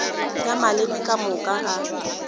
ya maleme ka moka a